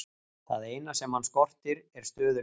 Það eina sem hann skortir er stöðugleiki.